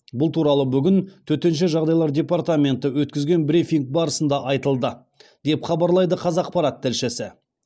бұл туралы бүгін төтенше жағдайлар департаменті өткізген брифинг барысында айтылды деп хабарлайды қазақпарат тілшісі